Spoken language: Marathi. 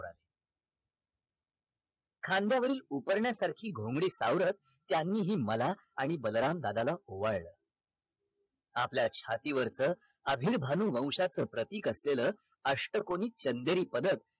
खांद्यावरील उपर्ण्यासारखी घोंगडी सावरत त्यांनीही मला आणि बलराम दादाला ओवाळलं आपल्या छाती वरच अभिर्भाणु वौंशाच प्रतिक असलेल अष्टकोनी चंदेरी पदर